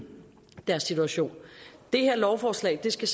deres situation det her lovforslag skal